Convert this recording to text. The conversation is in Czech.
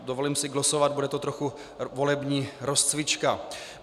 Dovolím si glosovat, bude to trochu volební rozcvička.